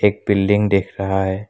एक बिल्डिंग दिख रहा हैं।